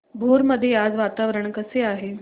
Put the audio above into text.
भोर मध्ये आज वातावरण कसे आहे